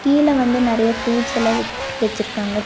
கீழ வந்து நெறையா ஃப்ரூட்ஸ்ஸல்லா வெ வெச்சிருக்காங்க த--